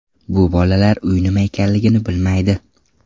Bu bolalar uy nima ekanligini bilmaydi.